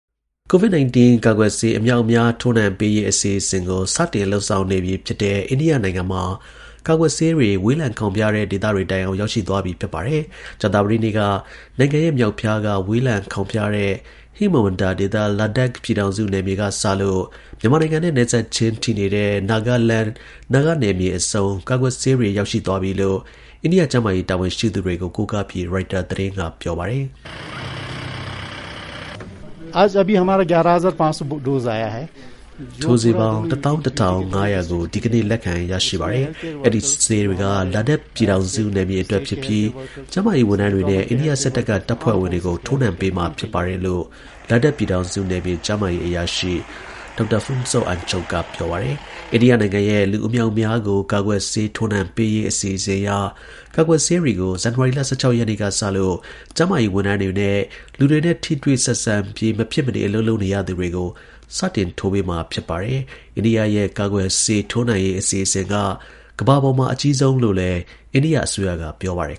COVID-19 ကာကွယ်ဆေး အမြောက်အမြား ထိုးနှံပေးရေး အစီအစဉ်ကို စတင်လုပ်ဆောင်နေပြီဖြစ်တဲ့ အိန္ဒိယနိုင်ငံမှာ ကာကွယ်ဆေးတွေ ဝေးလံခေါင်းဖျားတဲ့ ဒေသတွေတိုင်အောင် ရောက်ရှိသွားပြီ ဖြစ်ပါတယ်။ ကြာသပတေးနေ့က နိုင်ငံရဲ့ မြောက်ဖျားက ဝေးလံခေါင်ဖျားတဲ့ ဟိမဝန္တာဒေသ Ladakh ပြည်ထောင်စုနယ်မြေကစလို့ မြန်မာနိုင်ငံနဲ့ နယ်စပ်ချင်းထိနေတဲ့ Nagaland နာဂနယ်မြေအဆုံး ကာကွယ်ဆေးတွေ ရောက်ရှိသွားပြီလို့ အိန္ဒိယ ကျန်းမာရေး တာဝန်ရှိသူတွေကို ကိုကားပြီး ရိုက်တာသတင်းက ပြောပါတယ်။ “ထိုးဆေးပေါင်း ၁၁,၅၀၀ ကို ဒီကနေ့ လက်ခံရရှိပါတယ်။ အဲဒီဆေးတွေက Ladakh ပြည်ထောင်စုနယ်မြေအတွက်ဖြစ်ပြီး ကျန်းမာရေးဝန်ထမ်းတွေနဲ့ အိန္ဒိယစစ်တပ်က တပ်ဖွဲ့ဝင်တွေကို ထိုးနှံပေးမှာဖြစ်တယ်” လို့ Ladakh ပြည်ထောင်စုနယ်မြေ ကျန်းမာရေးအရာရှိ Dr. Phuntsog Angchuk က ပြောပါတယ်။ အိန္ဒိယနိုင်ငံရဲ့ လူအမြောက်အမြေားကို ကာကွယ်ဆေး ထိုးနှံပေးရေး အစီအစဉ်အရ ကာကွယ်ထိုးဆေးတွေကို ဇန်နဝါရီလ ၁၆ ရက် စနေနေ့ကစလို့ ကျန်းမာရေးဝန်ထမ်းတွေနဲ့ လူတွေနဲ့ ထိတွေ့ဆက်ဆံပြီး မဖြစ်မနေ အလုပ်လုပ်နေရသူတွေကို စတင်ထိုးပေးမှာ ဖြစ်ပါတယ်။ အိန္ဒိယရဲ့ ကာကွယ်ဆေးထိုးနှံရေး အစီအစဉ်က ကမ္ဘာပေါ်မှာ အကြီးမားဆုံးလို့လည်း အိန္ဒိယအစိုးရက ပြောပါတယ်